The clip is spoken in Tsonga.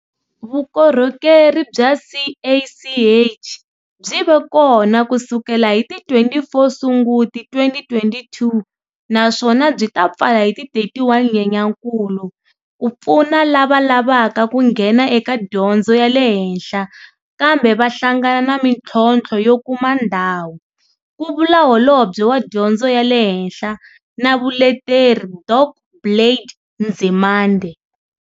Vukorhokeri bya CACH byi ve kona ku sukela hi ti 24 Sunguti 2022 naswona byi ta pfala hi ti 31 Nyenyankulu ku pfuna lava lavaka ku nghena eka dyondzo ya le henhla kambe va hlangana na mitlhontlho yo kuma ndhawu, ku vula Holobye wa Dyondzo ya le Henhla na Vuleteri Dok Blade Nzimande.